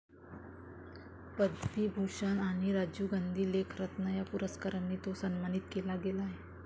पद्मविभूषण आणि राजीव गांधी खेलरत्न या पुरस्कारांनी तो सन्मानित केला गेला आहे